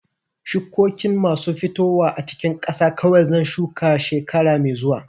Shukokin masu fitowa a cikin ƙasa kawai zan shuka shekara mai zuwa.